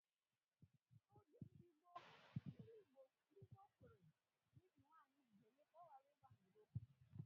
Oge ndị gboo, ndị gboo kwere na ibi nwanyị úgwù ga eme ka ọ ghara ịgba n'ilo